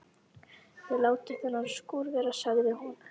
Þið látið þennan skúr vera sagði hún.